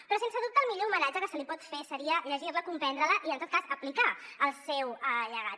però sense dubte el millor homenatge que se li pot fer seria llegir la comprendre la i en tot cas aplicar el seu llegat